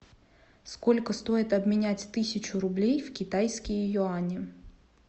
сколько стоит обменять тысячу рублей в китайские юани